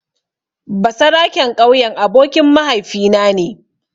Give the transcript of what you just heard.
Basaraken ƙauyen abokin mahaifina ne.